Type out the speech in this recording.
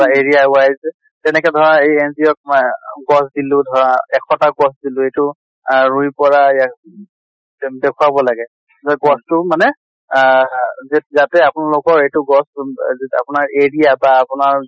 বা area wise যেনেকে ধৰে এই NGO ত ৱে গছ দিলো ধৰা এশ টা গছ দিলো ধৰা আহ ৰুই পৰা দেখোৱাব লাগে। য গছ টো মানে আহ যে যাতে আপোনালোকৰ এইটো গছ আপোনাৰ area বা আপোনাৰ